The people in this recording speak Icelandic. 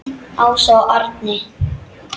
Ása og Árni.